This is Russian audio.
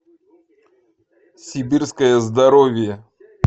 сибирское здоровье